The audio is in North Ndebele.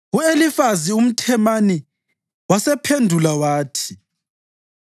U-Elifazi umThemani wasephendula wathi: